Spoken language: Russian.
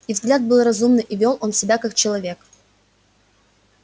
и взгляд был разумный и вёл он себя как человек